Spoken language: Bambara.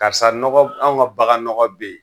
Karisa nɔgɔ, anw ka baganɔgɔ be yen